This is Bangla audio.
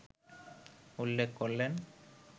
উল্লেখ করলেন